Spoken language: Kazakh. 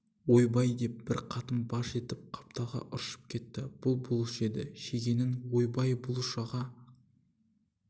ойбай деп бір қатын баж етіп қапталға ыршып кетті бұл бұлыш еді шегенің ойбай бұлыш аға